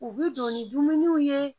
U bi don ni dumuniw ye